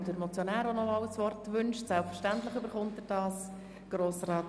Der Motionär wünscht nochmals das Wort.